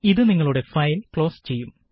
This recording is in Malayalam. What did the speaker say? ഇത് നിങ്ങളുടെ ഫയല് ക്ലോസ് ചെയ്യും